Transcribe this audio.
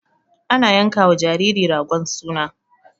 Ana yankawa jariri ragon suna.